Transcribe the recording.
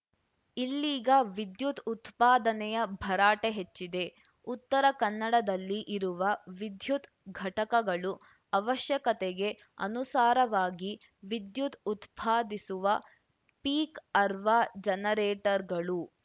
ಇಲ್ಲೀಗ ವಿದ್ಯುತ್‌ ಉತ್ಪಾದನೆಯ ಭರಾಟೆ ಹೆಚ್ಚಿದೆ ಉತ್ತರ ಕನ್ನಡದಲ್ಲಿ ಇರುವ ವಿದ್ಯುತ್‌ ಘಟಕಗಳು ಅವಶ್ಯಕತೆಗೆ ಅನುಸಾರವಾಗಿ ವಿದ್ಯುತ್‌ ಉತ್ಪಾದಿಸುವ ಪೀಕ್‌ ಅರ್ವ ಜನರೇಟರ್ ಗಳು